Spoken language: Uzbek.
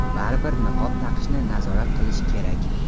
baribir niqob taqishni nazorat qilish kerak.